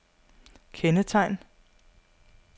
kendetegn